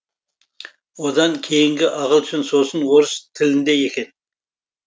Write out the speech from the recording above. одан кейінгі ағылшын сосын орыс тілінде екен